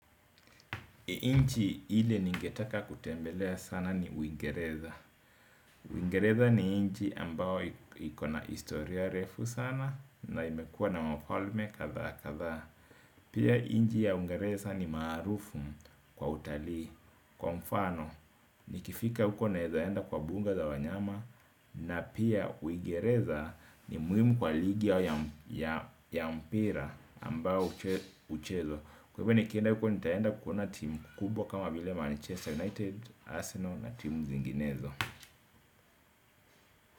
Nchi ile ningetaka kutembelea sana ni uingereza Uingereza ni nchi ambayo ikona historia refu sana na imekuwa na wafalme kadhaa kadhaa. Pia nchi ya uingereza ni maarufu kwa utalii kwa mfano nikifika huko naeza enda kwa buga la wanyama. Na pia uingereza ni muhimu kwa ligi ya mpira ambao huchezwa. Kwa hivo nikienda huko nitaenda kuona timu kubwa kama vile Manchester United, Arsenal na timu zinginezo.